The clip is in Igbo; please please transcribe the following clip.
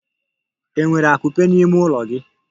Enwere akupe n'ime ụlọ gị?